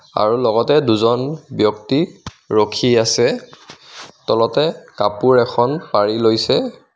আৰু লগতে দুজন ব্যক্তি ৰখি আছে তলতে কাপোৰ এখন পাৰি লৈছে.